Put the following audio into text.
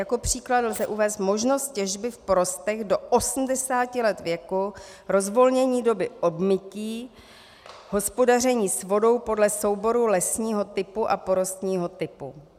Jako příklad lze uvést možnost těžby v porostech do 80 let věku, rozvolnění doby obmýtí, hospodaření s vodou podle souboru lesního typu a porostního typu.